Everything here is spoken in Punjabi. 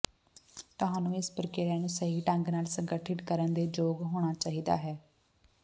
ਤੁਹਾਨੂੰ ਇਸ ਪ੍ਰਕ੍ਰਿਆ ਨੂੰ ਸਹੀ ਢੰਗ ਨਾਲ ਸੰਗਠਿਤ ਕਰਨ ਦੇ ਯੋਗ ਹੋਣਾ ਚਾਹੀਦਾ ਹੈ